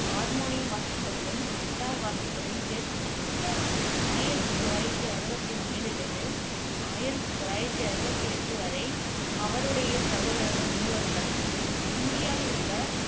harmonium வாசிப்பதிலும், guitar வாசிப்பதிலும் தேர்ச்சி பெற்றிருந்தார் ஆயிரத்தி தொள்ளாயிரத்தி அறுவத்தி ஒண்ணில் இருந்து ஆயிரத்தி தொள்ளாயிரத்தி அறுவத்தி எட்டு வரை அவருடைய சகோதரர்கள் மூவருடனும் இந்தியாவில் உள்ள